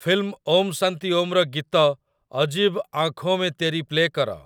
film 'Om Shanti ଓମ୍'ର ଗୀତ 'ଅଜୀବ ଆଁଖୋଁ ମେଁ ତେରି' ପ୍ଲେ କର